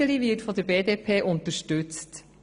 Iseli wird von der BDP unterstützt.